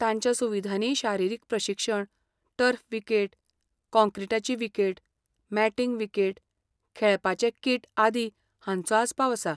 तांच्या सुविधांनी शारिरीक प्रशिक्षण, टर्फ विकेट, काँक्रीटाची विकेट, मॅटींग विकेट, खेळपाचें किट आदी, हांचो आस्पाव आसा.